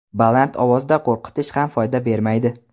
Baland ovozda qo‘rqitish ham foyda bermaydi.